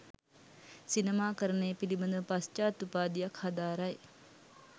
සිනමාකරණය පිළිබඳ පශ්චාත් උපාධියක් හදාරයි.